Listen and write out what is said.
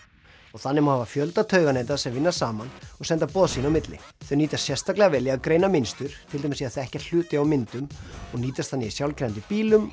og þannig hafa fjölda tauganeta sem vinna saman og senda boð sín á milli þau nýtast sérstaklega vel í að greina mynstur til dæmis í að þekkja hluti á myndum og nýtast þannig í sjálfkeyrandi bílum